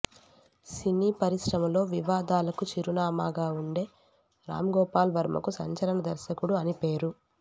సినీ పరిశ్రమలో వివాదాలకు చిరునామాగా ఉండే రామ్ గోపాల్ వర్మకు సంచలన దర్శకుడు అనిపేరు